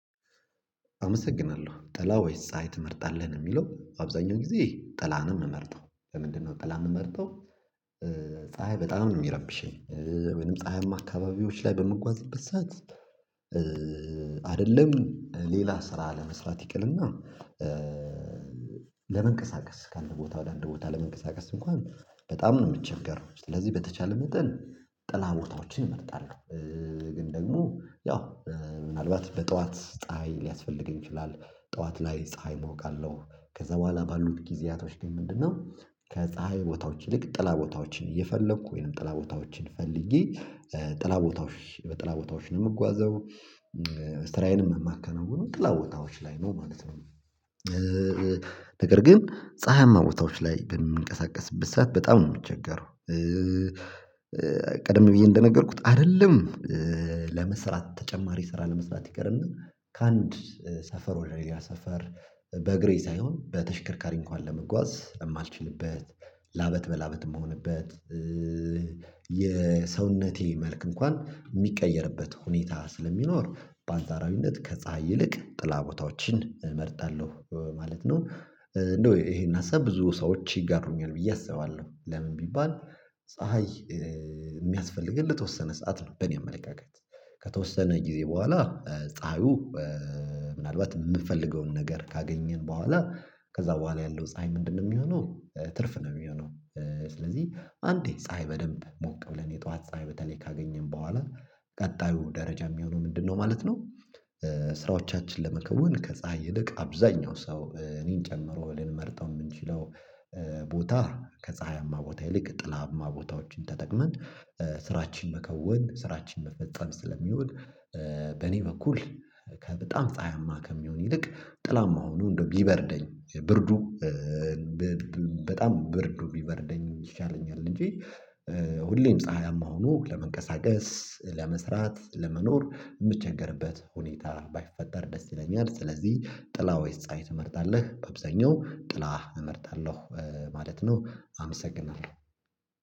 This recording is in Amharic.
አመሰግናለሁ ጠላ ወይስ ፀሀይ ትመርጣለህ? የሚለው አብዛኛው ጊዜ ጠላ ነው የምመርጠው ለምንድነው ጠላ የምመርጠው ፀሀይ በጣም ነው የሚረብሸኝ ወይንም ፀሀይማ አካባቢዎች ላይ በምጓዝበት ሰዓት አይደለም ሌላ ስራ ለመስራት ይቅርና ለመንቀሳቀስ ከአንድ ቦታ ወደ አንድ ቦታ ለመንቀሳቀስ እንኳን በጣም ነው የምቸገረው ስለዚህ በተቻለ መጠን ጥላ ቦታዎችን እመጣለሁ ግን ደግሞ ያው ምናልባት በጠዋት ፀሀይ ሊያስፈልገኝ ይችላል ጠዋት ላይ ፀሀይ እሞቃለሁ ከዛ በኋላ ባሉት ጊዜያቶች ግን ምንድነው ከፀሀይ ቦታዎች ይልቅ ጥላ ቦታዎችን እየፈለኩ ወይንም ጥላ ቦታዎችን ፈልጌ ጥላ ቦታዎች በጥላ ቦታዎች ነው የምጓዘው ስራዬንም የማከናውነው ጥላ ቦታዎች ላይ ነው ማለት ነው ነገር ግን ፀሀይማ ቦታዎች ላይ በምንቀሳቀስበት ሰዓት በጣም ነው የምቸገረው ቀደም ብዬ እንደነገርኩት አይደለም ለመስራት ተጨማሪ ስራ ለመስራት ይቅርና ከአንድ ሰፈር ወደ ሌላ ሰፈር በእግሬ ሳይሆን በተሽከርካሪ እንኳን ለመጓዝ የማልችልበት ላብ በላብ የምሆንበት የሰውነቴ መልክ እንኳን የሚቀየርበት ሁኔታ ስለሚኖር በአንጻራዊነት ከፀሀይ ይልቅ ጥላ ቦታዎችን እመርጣለሁ ማለት ነው። እንደው ይሄን ሀሳብ ብዙ ሰዎች ይጋሩኛል ብዬ አስባለሁ ለምን ቢባል ፀሀይ የሚያስፈልገን ለተወሰነ ሰዓት ነው በእኔ አመለካከት ከተወሰነ ጊዜ በኋላ ፀሀዩ ምናልባት የምፈልገውን ነገር ካገኘን በኋላ ከዛ በኋላ ያለው ፀሀይ ምንድነው የሚሆነው ትርፍ ነው የሚሆነው ስለዚህ አንዴ ፀሀይ በደንብ ሞቅ ብለን የጧት ፀሀይ በተለይ ካገኘን በኋላ ቀጣዩ ደረጃ የሚሆነው ምንድነው ማለት ነው ስራዎቻችን ለመከወን ከፀሀይ ይልቅ አብዛኛው ሰው እኔን ጨምሮ ልንመርጠው የምንችለው ቦታ ከፀሀያማ ቦታ ይልቅ ጥላማ ቦታዎችን ተጠቅመን ስራችን መከወን ስራችን መፈጸም ስለሚሆን በኔ በኩል በጣም ፀሀያማ ከሚሆን ይልቅ ጥላማ ሆኖ እንደው ቢበርደኝ ብርዱ በጣም ብርዱ ቢበርደኝ ይሻለኛል እንጂ ሁሌም ፀሀያማ ሆኖ ለመንቀሳቀስ ለመስራት ለመኖር የምቸገርበት ሁኔታ ባይፈጠር ደስ ይለኛል ስለዚህ ጥላ ወይስ ፀሀይ ትመርጣለህ በብዛኛው ጥላ እመርጣለሁ ማለት ነው አመሰግናለሁ።